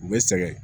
U bɛ sɛgɛn